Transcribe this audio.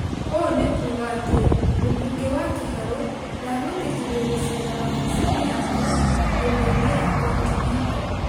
Ũũ nĩ kuga atĩ mũmbunge wa Kĩharũ ndagwĩtĩkĩrio gũceera wabici-inĩ yake nyũmba-inĩ ya continental.